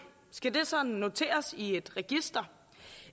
skal det så noteres i et register